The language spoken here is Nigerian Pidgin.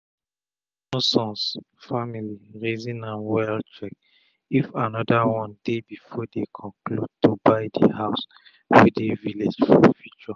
the johnson family reason am wellcheck if another one deybefore den conclude to buy the house wey dey village for future.